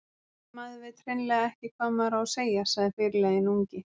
Maður veit hreinlega ekki hvað maður á að segja, sagði fyrirliðinn ungi.